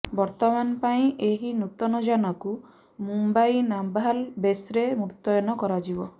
ବର୍ତ୍ତମାନ ପାଇଁ ଏହି ନୂତନ ଯାନକୁ ମୁମ୍ବାଇ ନାଭାଲ ବେସ୍ରେ ମୁତୟନ କରାଯିବ